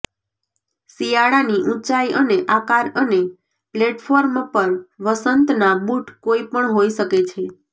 શિયાળાની ઊંચાઈ અને આકાર અને પ્લેટફોર્મ પર વસંતના બૂટ કોઈ પણ હોઈ શકે છે